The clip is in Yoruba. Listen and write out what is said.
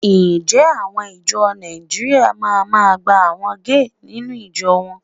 Ǹjẹ́ àwọn ìjọ Nàìjíríà ma máa gba àwọn géè nínú ìjọ wọn?